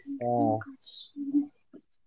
ಹ್ಮ